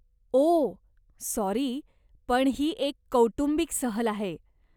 ओ, sorry, पण ही एक कौटुंबिक सहल आहे.